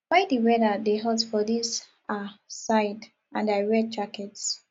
why the weather dey hot for dis um side and i wear jacket